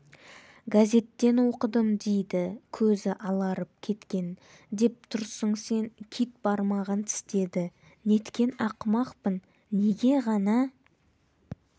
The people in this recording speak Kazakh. газттен оқыдым дейді көзі аларып кеткен деп тұрсың сен кит бармағын тістеді неткен ақымақпын неге ғана